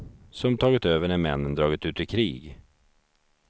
Som tagit över när männen dragit ut i krig.